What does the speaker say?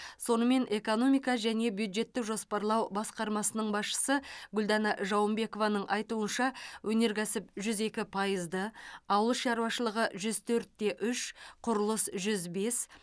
сонымен экономика және бюджеттік жоспарлау басқармасының басшысы гүлдана жауынбекованың айтуынша өнеркәсіп жүз екі пайызды ауыл шаруашылығы жүз төрт те үш құрылыс жүз бес